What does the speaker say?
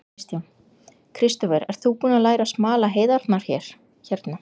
Kristján: Kristófer, ert þú búinn að læra að smala heiðarnar hérna?